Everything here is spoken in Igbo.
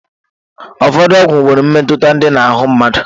Ụfọdụ ọgwụ nwere mmetụta dị na ahụ mmadụ.